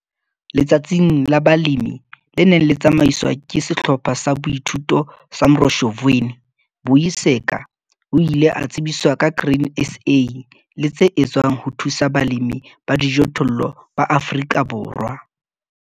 Letsatsing la balemi le neng le tsamaiswa ke Sehlopha sa Boithuto sa Mroshozweni, Vuyiseka o ile a tsebiswa ba Grain SA le tse etswang ho thusa balemi ba dijothollo ba Afrika Borwa.